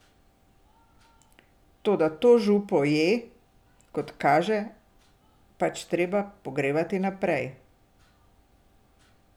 Toda to župo je, kot kaže, pač treba pogrevati naprej.